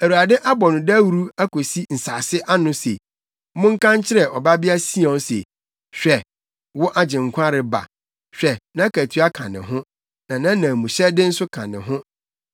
Awurade abɔ no dawuru akosi nsase ano se, “Monka nkyerɛ Ɔbabea Sion se, ‘Hwɛ, wo Agyenkwa reba! Hwɛ nʼakatua ka ne ho, na nʼanamuhyɛde nso ka ne ho.’ ”